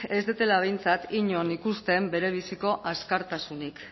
ez dudala behintzat inon ikusten berebiziko askatasunik